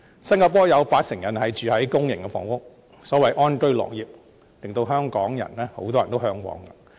新加坡有八成人居住於公營房屋，所謂安居樂業，令很多香港人為之嚮往。